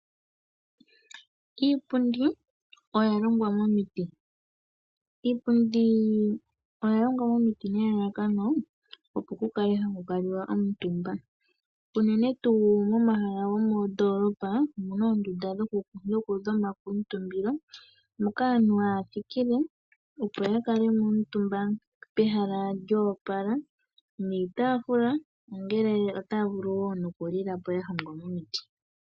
Iipundi oya longwa momiti. Iipundi oya longwa momiti nelalakano ku kale haku kuutumbwa unene tuu momahala gomoondoolopa omu na oondunda dhokukuutumba moka aantu haya thikile, opo ya kale mo omutumba pehala lyo opala niitaafula, mpoka taya vulu wo okulila.